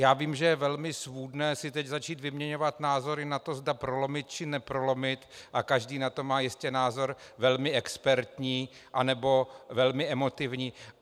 Já vím, že je velmi svůdné si teď začít vyměňovat názory na to, zda prolomit, či neprolomit, a každý na to má jistě názor velmi expertní, anebo velmi emotivní.